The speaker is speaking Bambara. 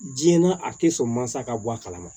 Diɲɛ na a tɛ sɔn mansa ka bɔ a kalama